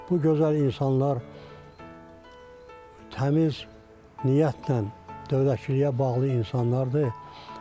Bu gözəl insanlar təmiz niyyətlə dövlətçiliyə bağlı insanlardır.